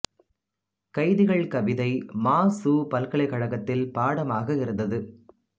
கைதிகள் கவிதை மா சு பல்கலைக் கழகத்தில் பாடமாக இருந்தது